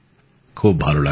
খুব ভাল লাগলো